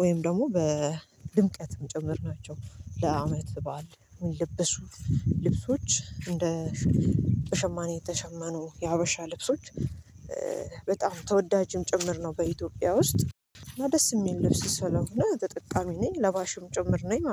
ወይም ደግሞ በድምቀትም ጭምር ናቸው። ለአመት በዓል የሚለብሱ ልብሶች እንደ በሸማኔ የተሸመኑ የሀበሻ ልብሶች በጣም ተወዳጅም ጭምር ነው። በኢትዮጵያ ውስጥ እና ደስ የሚል ልብስ ስለሆነ ተጠቃሚ ነኝ ለባሽም ጭምር ነኝ ማለት ነው